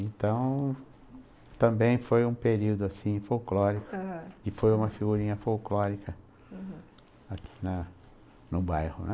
Então, também foi um período assim, folclórico, aham, e foi uma figurinha folclórica, uhum, aqui no bairro, né?